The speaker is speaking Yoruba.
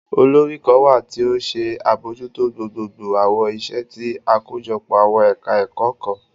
Olori kan wa ti o nṣe abojuto gbogbogbo awọn iṣẹ ti akojọpo awọn ẹka ẹkọ kan